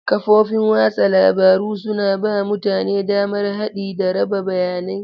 Kafofin watsa labaru suna ba mutane damar haɗi da raba bayanai.